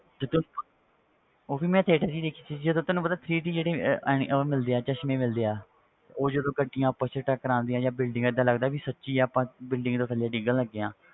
ਜਦੋਂ ਉਹ ਵੀ ਮੈਂ theater 'ਚ ਹੀ ਦੇਖੀ ਸੀ ਜਦੋਂ ਤੈਨੂੰ ਪਤਾ three D ਜਿਹੜੀ ਅਹ ਉਹ ਮਿਲਦੇ ਹੈ ਚਸ਼ਮੇ ਮਿਲਦੇ ਆ ਉਹ ਜਦੋਂ ਗੱਡੀਆਂ ਆਪਸ 'ਚ ਟਕਰਾਉਂਦੀਆਂ ਜਾਂ building ਏਦਾਂ ਲੱਗਦਾ ਵੀ ਸੱਚੀ ਆਪਾਂ building ਤੋਂ ਥੱਲੇ ਡਿੱਗਣ ਲੱਗੇ ਹਾਂ,